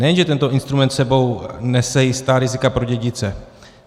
Nejenže tento instrument s sebou nese jistá rizika pro dědice.